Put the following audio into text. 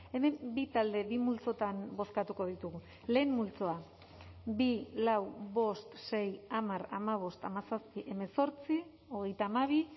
hemen bi talde bi multzotan bozkatuko ditugu lehen multzoa bi lau bost sei hamar hamabost hamazazpi hemezortzi hogeita hamabi